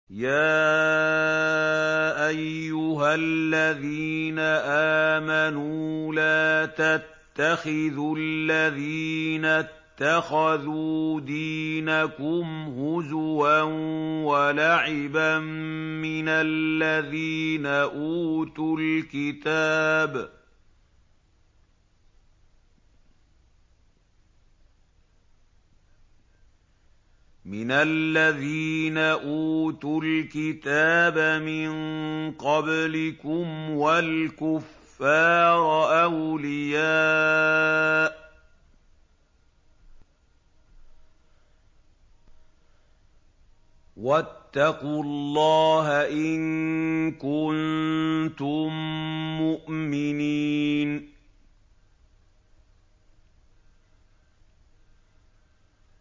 يَا أَيُّهَا الَّذِينَ آمَنُوا لَا تَتَّخِذُوا الَّذِينَ اتَّخَذُوا دِينَكُمْ هُزُوًا وَلَعِبًا مِّنَ الَّذِينَ أُوتُوا الْكِتَابَ مِن قَبْلِكُمْ وَالْكُفَّارَ أَوْلِيَاءَ ۚ وَاتَّقُوا اللَّهَ إِن كُنتُم مُّؤْمِنِينَ